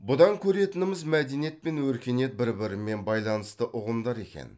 бұдан көретініміз мәдениет пен өркениет бір бірімен байланысты ұғымдар екен